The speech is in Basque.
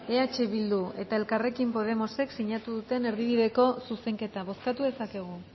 eh bildu eta elkarrekin podemosek sinatu duten erdibideko zuzenketa bozkatu dezakegu